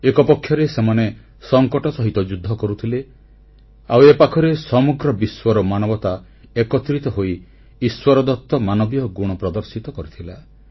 ଏକପକ୍ଷରେ ସେମାନେ ସଂକଟ ସହିତ ଯୁଦ୍ଧ କରୁଥିଲେ ଆଉ ଏ ପାଖରେ ସମଗ୍ର ବିଶ୍ୱର ମାନବତା ଏକତ୍ରିତ ହୋଇ ଇଶ୍ୱରଦତ୍ତ ମାନବୀୟ ଗୁଣ ପ୍ରଦର୍ଶିତ କରିଥିଲା